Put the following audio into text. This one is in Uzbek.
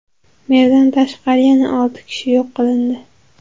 Merdan tashqari, yana olti kishi yo‘q qilindi.